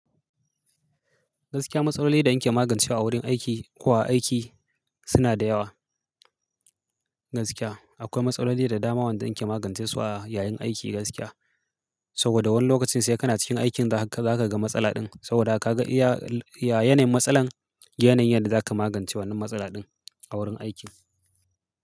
Gaskiya, matsalolin da ni ke magance wa wurin aiki ko a aiki suna da yawa. Gaskiya akwai matsaloli da dama wanda ni ke magance su a yayin aiki gaskiya. Saboda wani lokacin sai kana cikin aikin zaka ga matsala din saboda ha ka yanayin matsalan, yanayin yadda zaka magance wannan matsala din a wurin aiki.